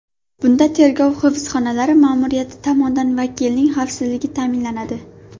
Bunda tergov hibsxonalari ma’muriyati tomonidan vakilning xavfsizligi ta’minlanadi.